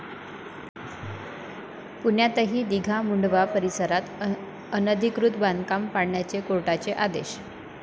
पुण्यातही 'दिघा', मुढंवा परिसरात अनधिकृत बांधकाम पाडण्याचे कोर्टाचे आदेश